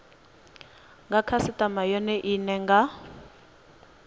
nga khasitama yone ine nga